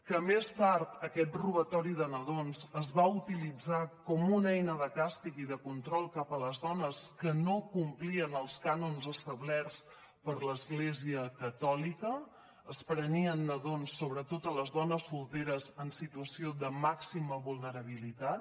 que més tard aquest robatori de nadons es va utilitzar com una eina de càstig i de control cap a les dones que no complien els cànons establerts per l’església catòlica es prenien nadons sobretot a les dones solteres en situació de màxima vulnerabilitat